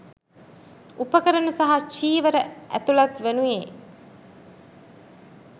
උපකරණ සහ චීවර ඇතුළත් වනුයේ